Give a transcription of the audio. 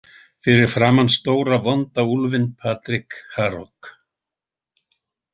Fyrir framan stóra vonda úlfinn Patrik Harok.